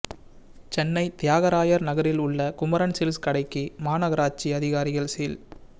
சென்னை தியாகராயர் நகரில் உள்ள குமரன் சில்க்ஸ் கடைக்கு மாநகராட்சி அதிகாரிகள் சீல்